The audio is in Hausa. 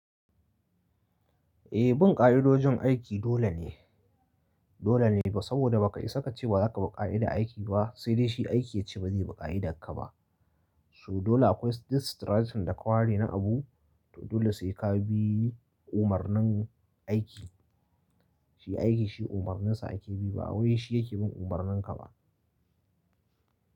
Eh bin ƙa'idojin aiki dole ne, dole ne saboda ba ka isa ka ce ba za ka bi ƙa'ida aiki ba sai dai shi aiki ya ce ba zai bi ƙa'idar ka ba. So dole akwai this strategy da ka ware na abu, to dole sai ka bi umarnin aiki. Shi aiki shi umarninsa ake bi ba wai shi yake bin umarnin ka ba.